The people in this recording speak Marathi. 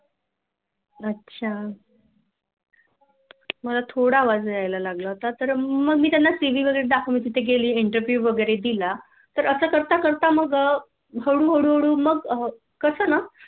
अच्छा मला थोडं आवाज यायला लागला होता मग मी त्याना CV वैगेरे दाखवला तिथे गेली Interview वैगेरे दिलातर असं करता करता मग हळू हळू मग कस ना